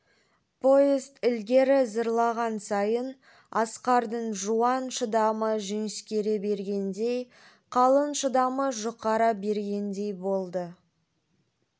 поезд ілгері зырлаған сайын асқардың жуан шыдамы жіңішкере бергендей қалын шыдамы жұқара бергендей болды